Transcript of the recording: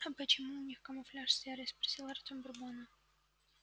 а почему у них камуфляж серый спросил артем бурбона